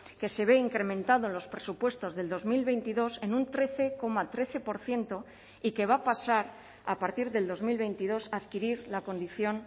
que se ve incrementado en los presupuestos del dos mil veintidós en un trece coma trece por ciento y que va a pasar a partir del dos mil veintidós a adquirir la condición